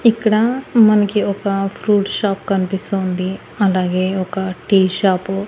ఇక్కడ మనకి ఒక ఫ్రూట్ షాప్ కన్పిస్తూ ఉంది అలాగే ఒక టీ షాపు --